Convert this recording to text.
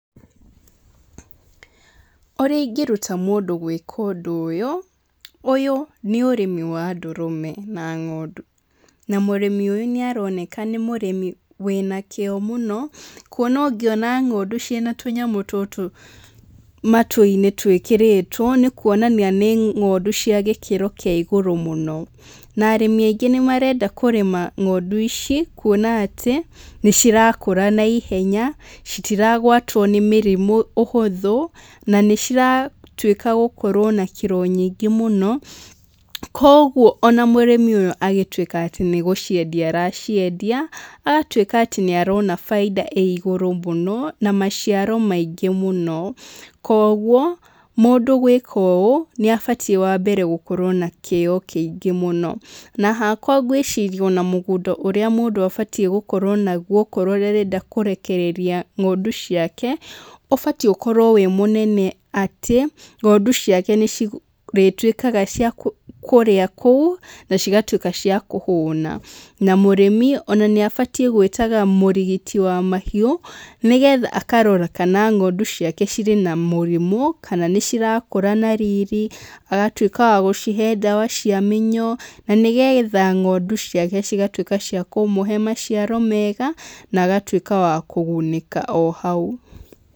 Ũrĩa ingĩruta mũndũ gwĩka ũndũ ũyũ, ũyũ nĩ ũrĩmi wa ndũrũme na ng'ondu. Na mũrĩmi ũyũ nĩaroneka nĩ mũrĩmi wĩna kĩĩo mũno kuona ũngĩona ng'ondu ciĩna tũnyamũ tũtũ matũinĩ twĩkĩrĩtwo nĩ kuonania nĩ ng'ondu cia gĩkĩro kĩa igũrũ mũno. Na arĩmi aingĩ nĩmarenda kũrĩma ng'ondu ici kuona atĩ nĩcirakũra na ihenya citiragwatwo nĩ mĩrimũ ũhũthũ na nĩciratuĩka gũkorwo na kiro nyingĩ mũno. Koguo ona mũrĩmi ũyũ agĩtuĩka nĩgũciendia araciendia agatuĩka atĩ nĩarona baida ĩ igũrũ mũno na maciaro maingĩ mũno. Koguo mũndũ gwĩka ũũ nĩabatie wambere gũkorwo na kĩĩo kĩingĩ mũno. Na hakwa ngĩciria mũgũnda ũrĩa mũndũ abatie gũkorwo naguo akorwo nĩarenda kũrekereria ng'ondu ciake ũbatie ũkorwo wĩ mũnene atĩ ng'ondu ciake nĩcirĩtuĩkaga cia kũrĩa kũu nacigatuĩka cia kũhũna. Na mũrĩmi ona nĩabatie gwĩtaga mũrigiti wa mahiũ nĩgetha akarora kana ng'ondu ciake ciĩna mũrimũ kana nĩcirakũra na riri. Agatuĩka wa gũcihe ndawa cia mĩnyoo na nĩgetha ng'ondu ciake cigatuĩka cia kũmũhe maciaro mega na agatuĩka wa kũgunĩka o hau.